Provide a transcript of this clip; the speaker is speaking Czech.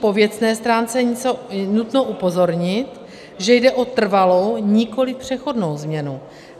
Po věcné stránce je nutno upozornit, že jde o trvalou, nikoliv přechodnou změnu.